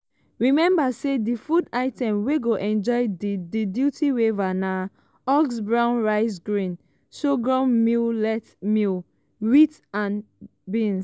remember say di food items wey go enjoy di di duty waiver na: husked brown rice grain sorghum millet maize wheat and beans.